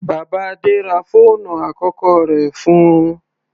Bàbá Adé ra fóònù àkọ́kọ́ rẹ̀ fún-un.